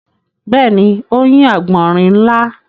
Bẹ́ẹ̀ni, ó yin àgbọ̀nrín ńlá.